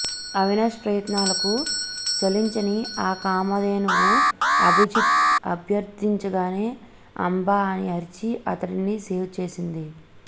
అవినాష్ ప్రయత్నాలకు చలించని ఆ కామధేనువు అభిజిత్ అభ్యర్థించగానే అంబా అని అరిచి అతడిని సేవ్ చేసింది